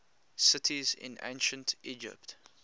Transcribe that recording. cities in ancient egypt